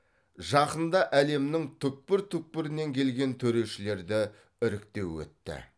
жақында әлемнің түкпір түкпірінен келген төрешілерді іріктеу өтті